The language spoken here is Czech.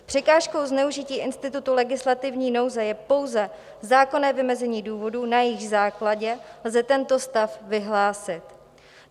Překážkou zneužití institutu legislativní nouze je pouze zákonné vymezení důvodů, na jejich základě lze tento stav vyhlásit.